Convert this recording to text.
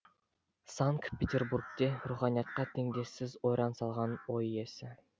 санкт петербургте руханиятқа теңдессіз ойран салған ой иесі